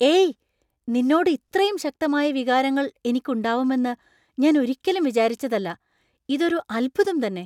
ഏയ്! നിന്നോട് ഇത്രയും ശക്തമായ വികാരങ്ങൾ എനിക്ക് ഉണ്ടാവുമെന്നു ഞാൻ ഒരിക്കലും വിചാരിച്ചതല്ല. ഇതൊരു അത്ഭുതം തന്നെ .